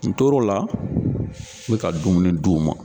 N tor'o la n mi ka dumuni d'u ma